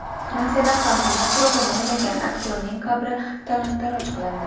Fransiyada Fantomas rolini o‘ynagan aktyorning qabri talon-taroj qilindi.